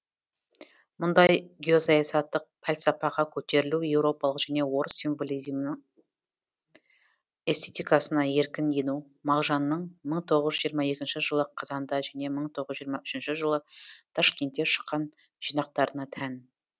мұндай геосаясаттық пәлсәпаға көтерілу еуропалық және орыс символизмнің эстетикасына еркін ену мағжанның мың тоғыз жүз жиырма екінші жылы қазанда және мың тоғыз жүз жиырма үшінші жылы ташкентте шыққан жинақтарына тән